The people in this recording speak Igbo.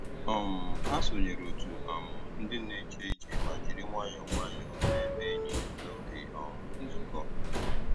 um Ha sònyèrè otù um ndì na-èjé ìjé mà jìrì nwayọ́ọ́ nwayọ́ọ́ na-èmè ényì n'ógè um nzukọ́.